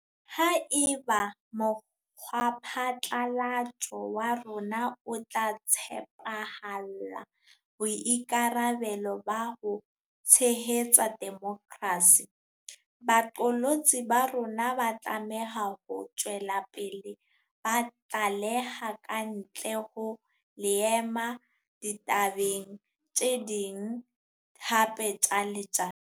Haeba mokgwaphatlalatso wa rona o tla tshepahalla boikarabelo ba ho tshehetsa demokrasi, baqolotsi ba rona ba tlameha ho tswela pele ba tlaleha kantle ho leeme ditabeng tse ding hape tsa letsatsi.